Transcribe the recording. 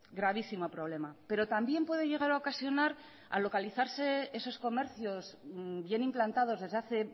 gravísimo problema pero también puede llegar a ocasionar al localizarse esos comercios bien implantados desde hace